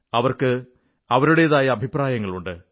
അവർക്ക് അവരുടേതായ അഭിപ്രായങ്ങളുണ്ട്